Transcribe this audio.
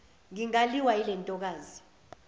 ngingaliwa yile ntokazi